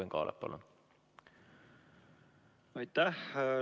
Aitäh!